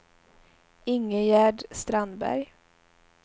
Ingegerd Strandberg